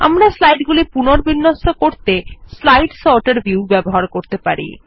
আমরা স্লাইড গুলি পুনর্বিন্যস্ত করতে স্লাইড সর্টার ভিউ ব্যবহার করতে পারি